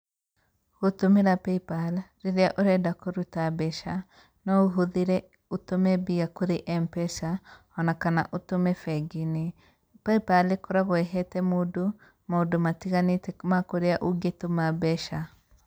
Gῦtῦmῖra paypal rῖrῖa ῦrenda kῦrῦta mbeca no ῦhῦthῖre ῦtῦme mbia kwῖ mpesa, ona kana ῦtume benginῖ, paypal ῖkoragwo ῖhete mῦndῦ maῦndῦ matiganῖte ma kῦria ῦngῖtuma mbeca.